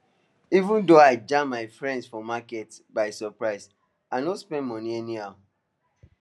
even though i jam my friends for market by surprise i no spend anyhow